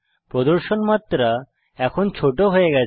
প্রদর্শন মাত্রা এখন ছোট হয়ে গেছে